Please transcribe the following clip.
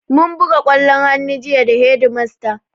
Mun buga ƙwallon hannu jiya da hedimasta